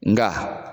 Nga